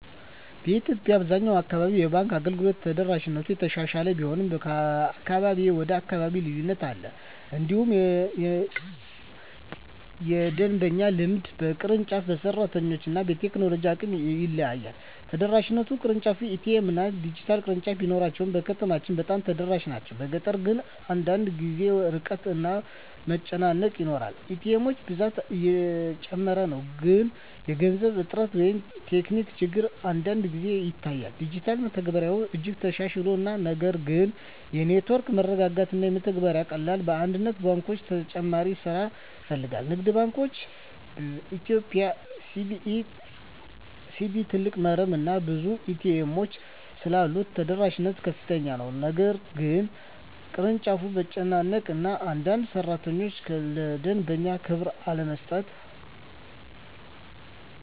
በኢትዮጵያ አብዛኛው አካባቢ የባንክ አገልግሎት ተደራሽነት እየተሻሻለ ቢሆንም ከአካባቢ ወደ አካባቢ ልዩነት አለ። እንዲሁም የደንበኛ ልምድ በቅርንጫፍ፣ በሰራተኞች እና በቴክኖሎጂ አቅም ይለያያል። ተደራሽነት (ቅርንጫፎች፣ ኤ.ቲ.ኤም፣ ዲጂታል) ቅርንጫፍ ቢሮዎች በከተሞች በጣም ተደራሽ ናቸው፤ በገጠር ግን አንዳንድ ጊዜ ርቀት እና መጨናነቅ ይኖራል። ኤ.ቲ. ኤሞች ብዛት እየጨመረ ነው፣ ግን የገንዘብ እጥረት ወይም ቴክኒክ ችግር አንዳንድ ጊዜ ይታያል። ዲጂታል መተግበሪያዎች እጅግ ተሻሽለዋል፣ ነገር ግን የኔትወርክ መረጋጋት እና የመተግበሪያ ቀላልነት በአንዳንድ ባንኮች ተጨማሪ ስራ ይፈልጋል። ንግድ ባንክ ኢትዮጵያ (CBE) ትልቅ መረብ እና ብዙ ኤ.ቲ. ኤሞች ስላሉት ተደራሽነት ከፍተኛ ነው፤ ግን በአንዳንድ ቅርንጫፎች መጨናነቅ እና አንዳንድ ሠራተኞች ለደንበኛ ክብር አለመስጠት